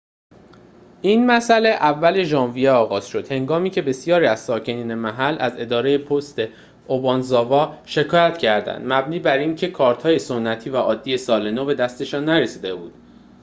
این مسئله اول ژانویه آغاز شد هنگامی که بسیاری از ساکنین محل از اداره پست اوبانزاوا شکایت کردند مبنی بر اینکه کارت‌های سنتی و عادی سال نو به دستشان نرسیده بود